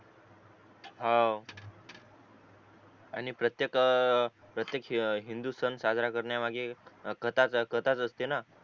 हवं आणि प्रत्येक ए प्रत्येक हिंदू सण साजरा करण्या माघे कथाच कथाच असते ना